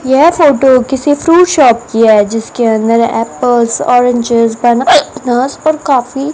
यह फोटो है किसी फ्रूट शॉप कि है जिसके अंदर एप्पल्स ऑरेंजेस और बनाना और काफी